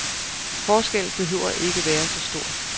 Forskellen behøver ikke være så stor.